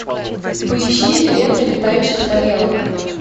поищи лето летающих тарелок